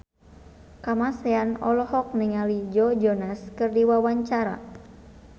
Kamasean olohok ningali Joe Jonas keur diwawancara